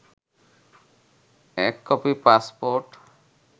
১ copy passport